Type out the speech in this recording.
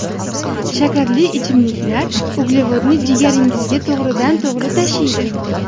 Shakarli ichimliklar uglevodni jigaringizga to‘g‘ridan to‘g‘ri tashiydi.